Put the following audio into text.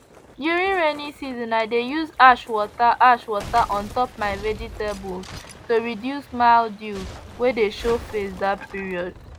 during rainy season i dey use ash water ash water on top my vegetables to reduce mildew wey dey show face that period